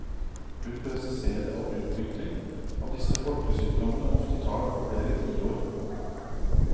Hun presiserer at utvikling av disse folkesykdommene ofte tar flere tiår.